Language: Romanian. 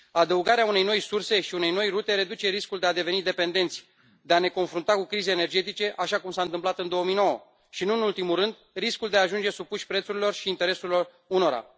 Adăugarea unei noi surse și unei noi rute reduce riscul de a deveni dependenți, de a ne confrunta cu crize energetice așa cum s a întâmplat în 2009 și, nu în ultimul rând, riscul de a ajunge supuși prețurilor și intereselor unora.